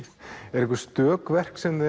eru einhver stök verk sem